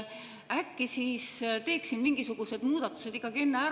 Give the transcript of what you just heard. Äkki siis teeks mingisugused muudatused ikkagi enne ära …